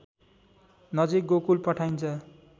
नजिक गोकुल पठाइन्छ